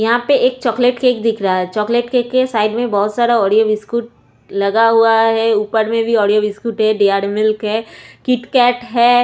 यहाँ पे chocolate cake दिख रहा है चॉकलेट केक साइड के ओरीओ बिस्कुट लगा हुआ है और ऊपर में ओरीओ बिस्कुट डैरीमिल्क है किटकेट है।